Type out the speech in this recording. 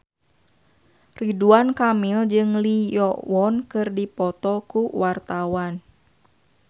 Ridwan Kamil jeung Lee Yo Won keur dipoto ku wartawan